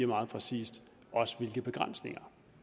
meget præcist hvilke begrænsninger